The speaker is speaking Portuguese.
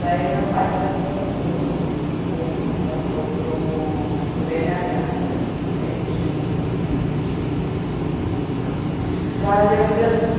Daí meu pai fez um concurso público, passou para o bê ene agá , que é extinto, hoje em dia não existe mais. Daí a vida